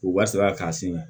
U b'a sara k'an sen na